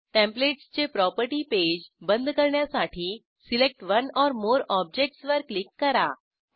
टेंप्लेटसचे property page बंद करण्यासाठी select one or more objectsवर क्लिक करा